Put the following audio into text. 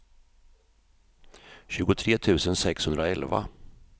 tjugotre tusen sexhundraelva